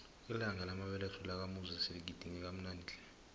ilanga lamabeletho lakamuzi siligidinge kamnandi tle